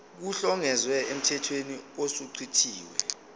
kuhlongozwe emthethweni osuchithiwe